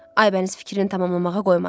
Aybəniz fikrini tamamlamağa qoymadı.